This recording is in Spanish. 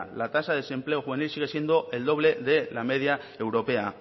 la tasa de desempleo juvenil sigue siendo el doble de la media europea